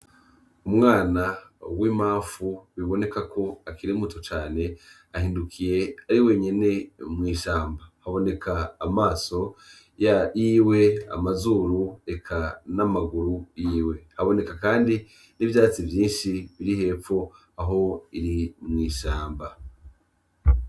Umwana w'imamfu biboneka kwari muto cane, ahindukiye ari wenyene mwishamba. Haboneka amaso, amazuru, eka namaguru yiwe, haboneka kandi n'ivyatsi vyinshi biri hepfo aho iri mwishamba.